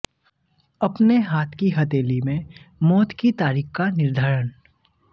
अपने हाथ की हथेली में मौत की तारीख का निर्धारण